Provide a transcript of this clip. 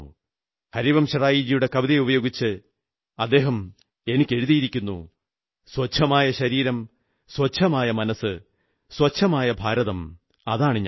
ഹരിവംശറായ്ജിയുടെ കവിത ഉപയോഗിച്ച് അദ്ദേഹം എനിക്കെഴുതിയിരിക്കുന്നു സ്വച്ഛമായ ശരീരം സ്വച്ഛമായ മനസ്സ് സ്വച്ഛമായ ഭാരതം അതാണു ഞാൻ